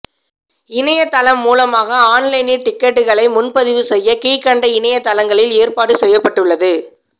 இணையதளம் மூலமாக ஆன்லைனில் டிக்கெட்டுகளை முன்பதிவு செய்ய கீழ்க்கண்ட இணையதளங்களில் ஏற்பாடு செய்யப்பட்டுள்ளது